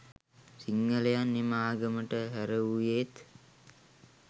සිංහලයන් එම ආගමට හැරවූයේත්